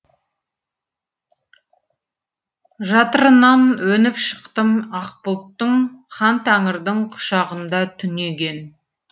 жатырынан өніп шықтым ақ бұлттың хан тәңірдің құшағында түнеген